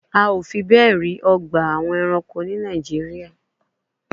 A ò fi bẹ́ẹ̀ rí àwọn ọgbà ẹranko ní Nàìjíríà